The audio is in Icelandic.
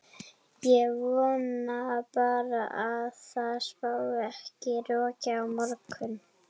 Ég vona bara að það spái ekki roki á morgun.